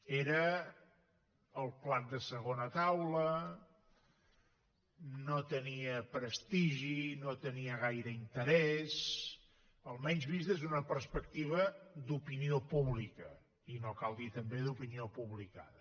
era el plat de segona taula no tenia prestigi no tenia gaire interès almenys vist des d’una perspectiva d’opinió pública i no cal dir també d’opinió publicada